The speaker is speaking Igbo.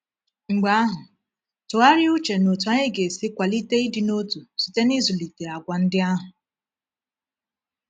Mgbe ahụ, tụgharịa uche n’otú anyị ga-esi kwalite ịdị n’otu site n’ịzụlite àgwà ndị ahụ.